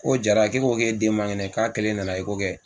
Ko jara ko e ko k'e den man kɛnɛ k'a keln nana kɛ.